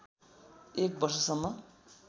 एक वर्षसम्म